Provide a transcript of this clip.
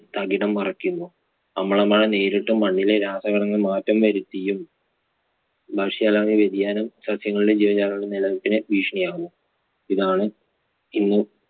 തകിടം മറിക്കുന്നു. അമ്ല മഴ നേരിട്ട് മണ്ണിലെ രാസവളങ്ങളിൽ മാറ്റം വരുത്തിയും വ്യതിയാനം സസ്യങ്ങളുടെയും ജീവജാലങ്ങളുടെയും നിലനിൽപ്പിന് ഭീഷണിയാകുന്നു. ഇതാണ് ഇന്ന്